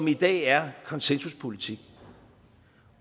i dag er konsensuspolitik